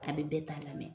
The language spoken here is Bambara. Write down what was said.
A bɛ bɛɛ ta lamɛn